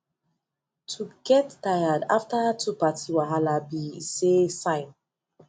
to get tired after too party wahala be esay sign